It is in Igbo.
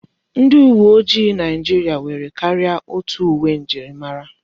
Ndi uwe ojii Naijiria nwere karịa otu uwe njirimara.